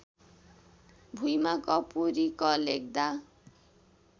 भुइमा कपुरी क लेख्दा